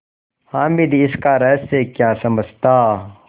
हामिद इसका रहस्य क्या समझता